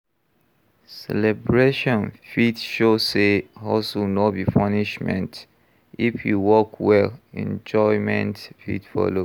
Celebration fit show sey hustle no be punishment, if e work well, enjoyment fit follow.